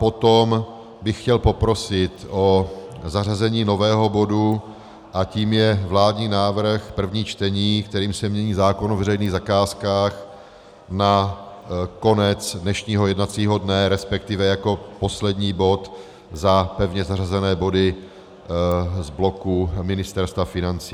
Potom bych chtěl poprosit o zařazení nového bodu a tím je vládní návrh, první čtení, kterým se mění zákon o veřejných zakázkách, na konec dnešního jednacího dne, respektive jako poslední bod za pevně zařazené body z bloku Ministerstva financí.